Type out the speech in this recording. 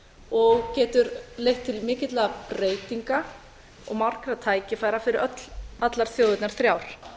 og getur leitt til mikilla breytinga og margra tækifæra fyrir allar þjóðirnar þrjár